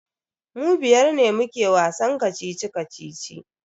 Mu biyar ne muke wasan kacici-kacici.